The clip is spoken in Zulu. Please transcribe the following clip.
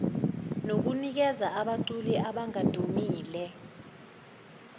nokunikeza abaculi abangadumile